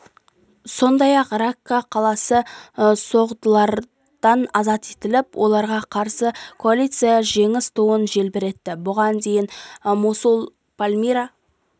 сондай-ақ ракка қаласы соғдылардан азат етіліп оларға қарсы коалиция жеңіс туын желбіретті бұған дейін мосул пальмира